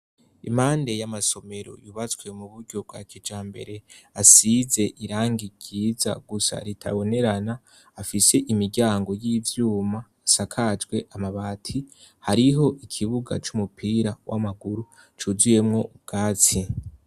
Impande y'amasomero yubatswe mu buryo bwa kijambere asize irangikiza gusa ritabonerana afise imiryango y'ivyumba asakajwe amabati hariho ikibuga c'umupira w'amaguru cuzuyemwo ubwatsi.